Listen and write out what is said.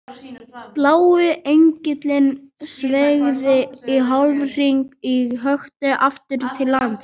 Blái engillinn sveigði í hálfhring og hökti aftur til lands.